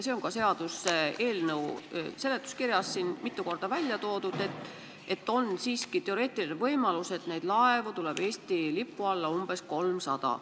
Seda on ka seaduseelnõu seletuskirjas mitu korda välja toodud, et on teoreetiline võimalus, et neid laevu tuleb Eesti lipu alla umbes 300.